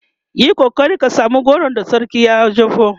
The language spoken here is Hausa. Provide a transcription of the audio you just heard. Yi kokari ka samu goron da sarkin ya jeho!